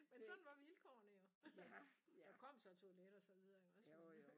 Men sådan var vilkårene jo der kom så toilet og så videre jo også men øh